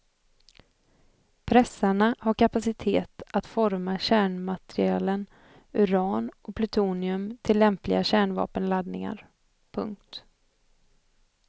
Pressarna har kapacitet att forma kärnmaterialen uran och plutonium till lämpliga kärnvapenladdningar. punkt